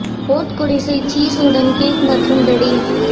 vote குடிசை cheese உடன் cake மற்றும் பெர்ரி